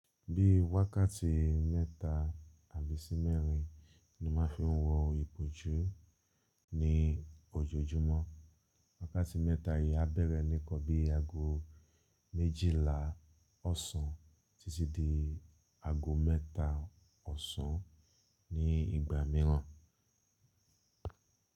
Bí wákàtí mẹ́ta àbí sí mẹ́rin ni mo ma fi ń wo ìbòjú ní ojoojúmọ́. Wákàtí mẹ́ta yìí á bẹ̀rẹ̀ ní nkan bí aago méjìlá ọ̀sán títí dé aago mẹ́ta ọ̀sán ní ìgbà mìíràn.